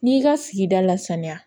N'i y'i ka sigida lasaniya